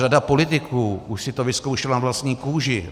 Řada politiků už si to vyzkoušela na vlastní kůži.